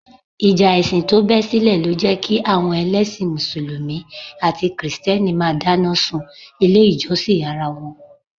Ìjà ẹ̀sìn tó bẹ́ sílẹ̀ lọ jẹ́ kí àwọn ẹlẹ́sìn Mùsùlùmí àti kìrìtẹ́nì máa dáná sun ilé ìjọsìn ara wọn